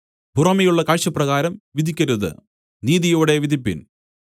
പുറമേയുള്ള കാഴ്ചപ്രകാരം വിധിക്കരുത് നീതിയോടെ വിധിപ്പിൻ